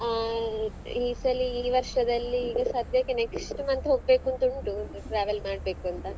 ಹ್ಮ್ ಈ ಸಲಿ ಈ ವರ್ಷದಲ್ಲಿ ಈಗ ಸದ್ಯಕ್ಕೆ next month ಹೋಗ್ಬೇಕುಂತ ಉಂಟು travel ಮಾಡ್ಬೇಕುಂತ.